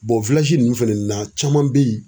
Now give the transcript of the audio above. ninnu fɛnɛ na caman be yen